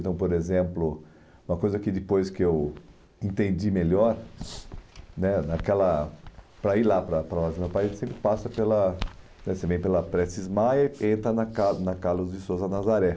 Então, por exemplo, uma coisa que depois que eu entendi melhor, né naquela, para ir lá para a, ele sempre passa pela pela Prestes Maia e entra na Car na Carlos de Sousa Nazaré.